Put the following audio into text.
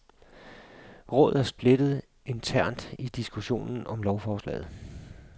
Rådet er splittet internt i diskussionen om lovforslaget.